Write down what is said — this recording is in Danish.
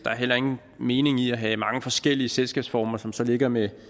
er heller ingen mening i at have mange forskellige selskabsformer som så ligger med